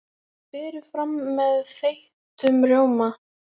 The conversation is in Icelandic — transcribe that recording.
Berið fram með þeyttum rjóma.